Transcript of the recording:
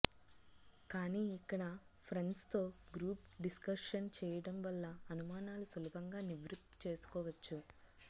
కానీ ఇక్కడ ఫ్రెండ్స్తో గ్రూప్ డిస్కర్షన్ చేయడం వల్ల అనుమానాలు సులభంగా నివృత్తి చేసుకోవచ్చు